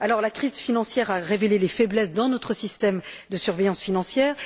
La crise financière a révélé les faiblesses de notre système de surveillance financière.